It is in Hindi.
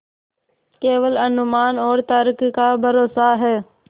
केवल अनुमान और तर्क का भरोसा है